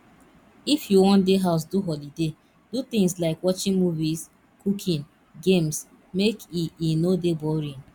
if you won de house do holiday do things like watching movies cooking games make e e no de boring